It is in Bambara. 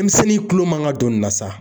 Denmisɛnnin kulo man ka don nin na .